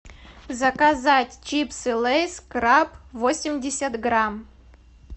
заказать чипсы лейс краб восемьдесят грамм